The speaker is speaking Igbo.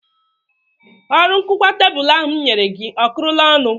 Ọrụ nkụkwa tebụl ahụ m nyere gị ọ kụrụla ọnụ